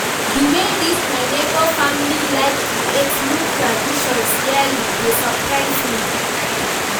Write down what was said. di wey this my nebor family like create new traditions yearly dey surprise me.